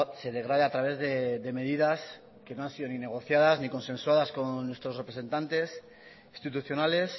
se degrade a través de medidas que no han sido ni negociadas ni consensuadas con nuestros representantes institucionales